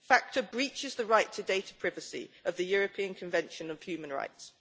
FATCA breaches the right to data privacy under the European Convention on Human Rights.